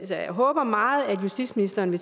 jeg håber meget at justitsministeren